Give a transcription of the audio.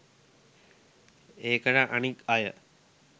ඒකට අනික් අය